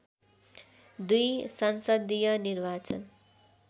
२ संसदीय निर्वाचन